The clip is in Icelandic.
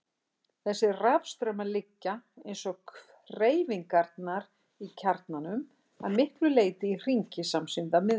Þessir rafstraumar liggja, eins og hreyfingarnar í kjarnanum, að miklu leyti í hringi samsíða miðbaug.